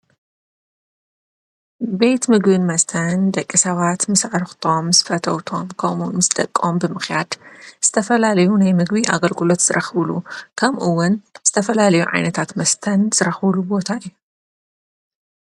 ቤት ምግብን መስተን ደቂ ሰባት ምስ ኣዕርኽቶም፣ ምስ ፈተውቶም ከምእውን ምስ ደቆም ብምኽያድ ዝተፈላለዩ ናይ ምግቢ ኣገልግሎት ዝረኽብሉ ከምኡውን ዝተፈላልዩ ዓይነታት መስተን ዝረኽብሉ ቦታ እዩ።